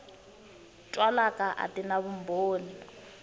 twalaka a ti na vumbhoni